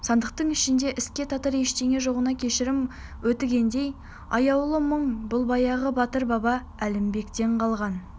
сандықтың ішінде іске татыр ештеңе жоғына кешірім өтінгендей аяулы мұң бұл баяғы батыр баба әлімбектен қалған